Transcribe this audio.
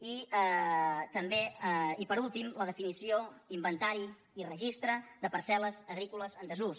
i també i per últim la definició inventari i registre de parcel·les agrícoles en desús